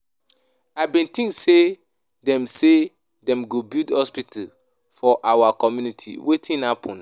I bin think say dem say dem go build hospital for our community, wetin happen?